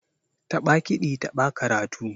Taɓa kiɗi taɓa karatu.